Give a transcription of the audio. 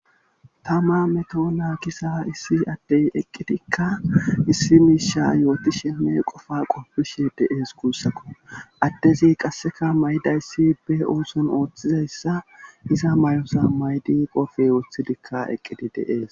Tama meto naagiza issi addey eqqidikka issi miisha yooti shemme qofa qoppishe de7ees guussakko addezi qasseka may7dayssi be ooson ooththizayssa iza may7osa maydi qofe woththidikka eqqidi deees.